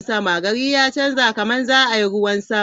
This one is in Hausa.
Gari ya chanja/ kamar za a yi ruwan sama.